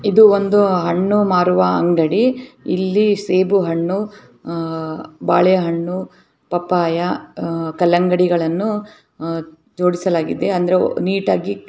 ಇದು ಒಂದು ಹಣ್ಣು ಮಾರುವ ಅಂಗಡಿ ಇಲ್ಲಿ ಸೆಬು ಹಣ್ಣು ಅಹ್‌ ಬಾಳೆ ಹಣ್ಣು ಪಪ್ಪಾಯ ಅಹ್‌ ಕಲ್ಲಂಗಡಿಗಳನ್ನು ಜೊಡಿಸಲಾಗಿದೆ ನಿಟಾಗಿ .